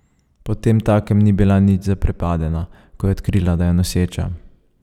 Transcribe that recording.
Potemtakem ni bila nič zaprepadena, ko je odkrila, da je noseča.